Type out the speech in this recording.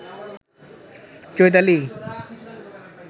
Chaitali